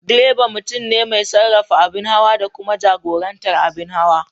Direba mutum ne mai sarrafa abin hawa da kuma jagorantar abin hawa.